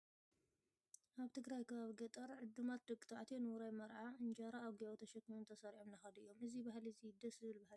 ኣብ ትግራይ ከባቢ ገጠር ዕዱማት ደቂ ተባዕትዮ ንውራይ መርዓ እንጀራ ኣብ ጊባቦ ተሸኪሞም ተሰሪዖም እንዳከዱ እዮም። እዚ ባህሊ እዚ ደስ ዝብል ባህሊ እዩ።